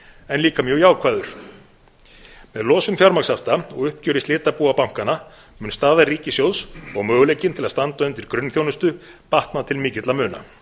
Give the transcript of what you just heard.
en líka mjög jákvæður með losun fjármagnshafta og uppgjöri slitabúa bankanna mun staða ríkissjóðs og möguleikinn til að standa undir grunnþjónustu batna til mikilla muna